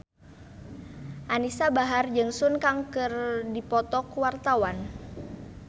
Anisa Bahar jeung Sun Kang keur dipoto ku wartawan